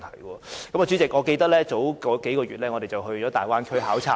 代理主席，我記得在數個月前，我們到大灣區考察。